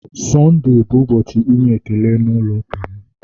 Sonde bụ ụbọchị inye ekele na ulo ụka m